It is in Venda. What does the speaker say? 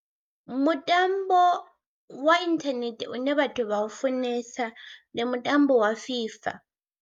Mutambo wa inthanethe une vhathu vha u funesa ndi mutambo wa FIFA.